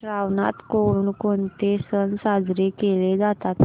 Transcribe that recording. श्रावणात कोणकोणते सण साजरे केले जातात